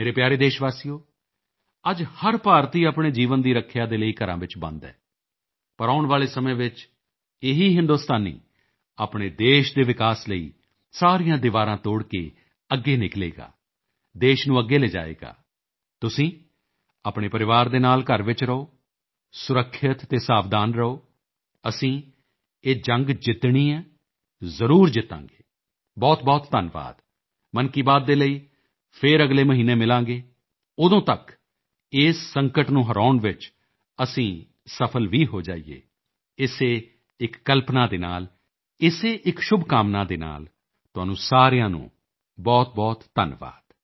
ਮੇਰੇ ਪਿਆਰੇ ਦੇਸ਼ਵਾਸੀਓ ਅੱਜ ਹਰ ਭਾਰਤੀ ਆਪਣੇ ਜੀਵਨ ਦੀ ਰੱਖਿਆ ਦੇ ਲਈ ਘਰਾਂ ਵਿੱਚ ਬੰਦ ਹੈ ਪਰ ਆਉਣ ਵਾਲੇ ਸਮੇਂ ਵਿੱਚ ਇਹੀ ਹਿੰਦੁਸਤਾਨੀ ਆਪਣੇ ਦੇਸ਼ ਦੇ ਵਿਕਾਸ ਲਈ ਸਾਰੀਆਂ ਦੀਵਾਰਾਂ ਤੋੜ ਕੇ ਅੱਗੇ ਨਿਕਲੇਗਾ ਦੇਸ਼ ਨੂੰ ਅੱਗੇ ਲਿਜਾਏਗਾ ਤੁਸੀਂ ਆਪਣੇ ਪਰਿਵਾਰ ਦੇ ਨਾਲ ਘਰ ਵਿੱਚ ਰਹੋ ਸੁਰੱਖਿਅਤ ਅਤੇ ਸਾਵਧਾਨ ਰਹੋ ਅਸੀਂ ਇਹ ਜੰਗ ਜਿੱਤਣਾ ਹੈ ਜ਼ਰੂਰ ਜਿੱਤਾਂਗੇ ਬਹੁਤਬਹੁਤ ਧੰਨਵਾਦ ਮਨ ਕੀ ਬਾਤ ਦੇ ਲਈ ਫਿਰ ਅਗਲੇ ਮਹੀਨੇ ਮਿਲਾਂਗੇ ਉਦੋਂ ਤੱਕ ਇਸ ਸੰਕਟ ਨੂੰ ਹਰਾਉਣ ਵਿੱਚ ਅਸੀਂ ਸਫਲ ਵੀ ਹੋ ਜਾਈਏ ਇਸੇ ਇੱਕ ਕਲਪਨਾ ਦੇ ਨਾਲ ਇਸੇ ਇੱਕ ਸ਼ੁਭਕਾਮਨਾ ਦੇ ਨਾਲ ਤੁਹਾਡਾ ਸਾਰਿਆਂ ਦਾ ਬਹੁਤਬਹੁਤ ਧੰਨਵਾਦ